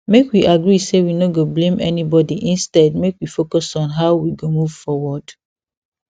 make we agree say we no go blame anybody instead make we focus on how we go move forward